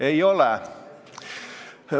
Ei ole.